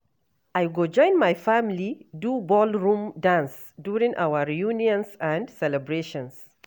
I go join my family do ballroom dance during our reunions and celebrations.